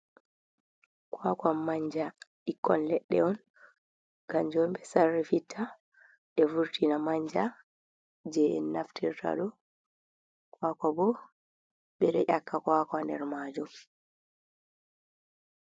Kwakwan manja ɓikkon leɗɗe on, kannjum on ɓe sarrifitta ɓe vurtina manja jey en naftirta ɗo. Kwakwa boo, ɓe ɗo ƴakka kwakwa haa nder maajum.